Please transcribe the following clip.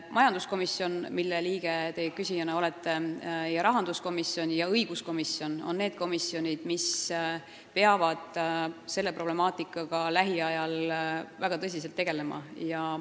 Majanduskomisjon, mille liige te olete, samuti rahandus- ja õiguskomisjon on need komisjonid, kes peavad selle problemaatikaga lähiajal väga tõsiselt tegelema.